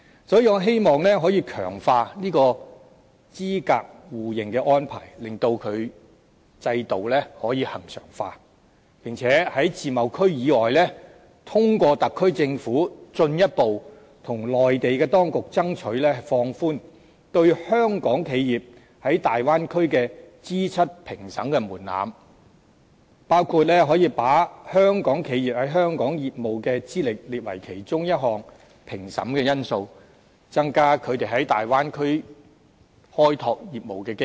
所以，我希望可以強化這個資格互認的安排，令該制度可以恆常化；並在自貿區以外，通過特區政府進一步向內地當局爭取，放寬對香港企業在大灣區的資質評審門檻，包括把香港企業在香港的業務資歷，列為其中一項評審的因素，增加它們在大灣區開拓業務的機遇。